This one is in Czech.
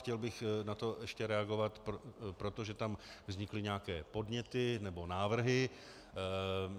Chtěl bych na to ještě reagovat, protože tam vznikly nějaké podněty, nebo návrhy.